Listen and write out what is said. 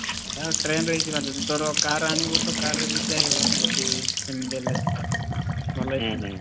train ରେ ଯିବା ଯଦି ତୋର car ଆଣିବୁ ତ car ରେବି ଯାଇହବ ଯଦି ଏମିତି ହେଲେ, ଭଲ ।